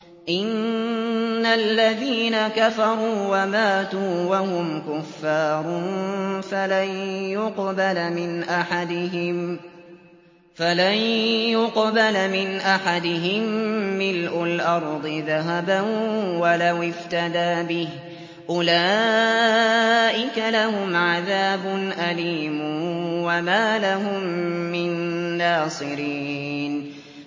إِنَّ الَّذِينَ كَفَرُوا وَمَاتُوا وَهُمْ كُفَّارٌ فَلَن يُقْبَلَ مِنْ أَحَدِهِم مِّلْءُ الْأَرْضِ ذَهَبًا وَلَوِ افْتَدَىٰ بِهِ ۗ أُولَٰئِكَ لَهُمْ عَذَابٌ أَلِيمٌ وَمَا لَهُم مِّن نَّاصِرِينَ